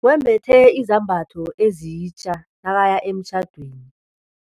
Wembethe izambatho ezitja nakaya emtjhadweni.